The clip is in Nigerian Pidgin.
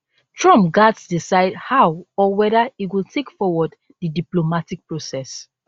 trump gatz decide how or weda e go take forward di diplomatic process